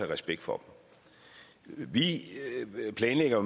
respekt for dem vi planlægger